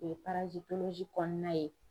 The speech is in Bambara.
O ye kɔnɔna ye.